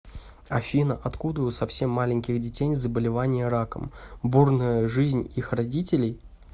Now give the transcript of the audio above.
афина откуда у совсем маленьких детей заболевание раком бурная жизнь их родителей